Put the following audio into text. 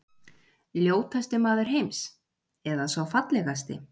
Ljótasti maður heims- eða sá fallegasti?